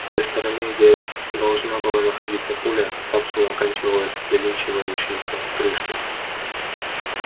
с той стороны где должна была находиться пуля капсула оканчивалась завинчивающейся крышкой